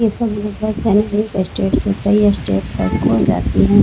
ये सब मिल के स्टेट तक जाते है ।